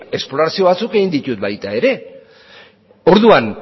esplorazio batzuk egiten dut baita ere orduan